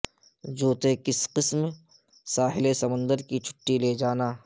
جوتے کس قسم ساحل سمندر کی چھٹی لے جانا